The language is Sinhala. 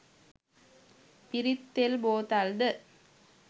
පිරිත් තෙල් බෝතල් ද